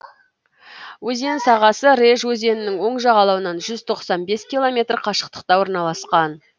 өзен сағасы реж өзенінің оң жағалауынан жүз тоқсан бес километр қашықтықта орналасқан